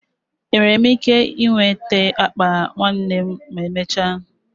Enwere m ike nweta akpa ụmụnna m ma emechaa?